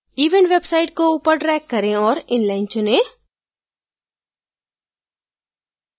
event website को ऊपर drag करें और inline चुनें